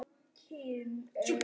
Svona mun ég elska þig.